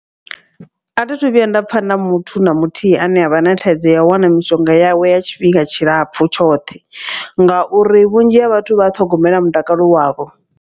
A thi thu vhuya nda pfha na muthu na muthihi ane avha na thaidzo ya u wana mishonga yawe ya tshifhinga tshilapfu tshoṱhe. Ngauri vhunzhi ha vhathu vha a ṱhogomela mutakalo wavho.